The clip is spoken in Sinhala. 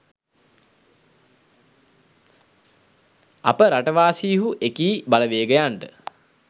අප රටවාසීහු එකී බලවේගයන්ට